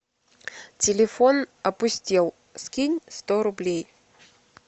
телефон опустел скинь сто рублей